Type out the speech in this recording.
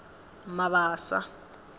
mabasa